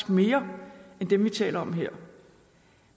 mere end dem vi taler om her